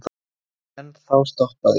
En þá stoppaði